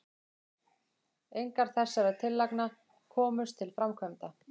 engar þessara tillagna komust til framkvæmda